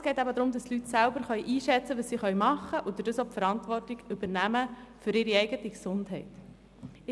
Es geht aber darum, dass die Leute selber einschätzen können, was sie tun können, und dadurch die Verantwortung für ihre eigene Gesundheit übernehmen.